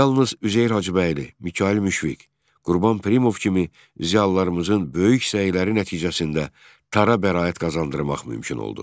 Yalnız Üzeyir Hacıbəyli, Mikayıl Müşfiq, Qurban Pirimov kimi ziyalılarımızın böyük səyləri nəticəsində tara bəraət qazandırmaq mümkün oldu.